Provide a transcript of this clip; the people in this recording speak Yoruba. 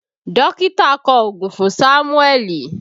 Dókítà kọ ògùn fún Sámúẹ́lì